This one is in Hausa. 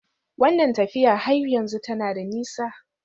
Wannan tafiya har yanzu tana da nisa?